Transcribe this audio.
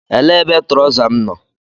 Elee ebe trọza m nọ?